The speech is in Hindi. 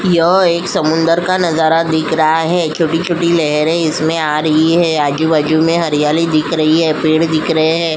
यह एक समुन्दर का नज़ारा दिख रहा है छोटी-छोटी लहरें इसमें आ रही है आजु बाजु में हरियाली दिख रही है पेड़ दिख रहे है।